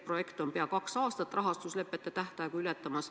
Projekt hakkab pea kaks aastat rahastuslepete tähtaega ületama.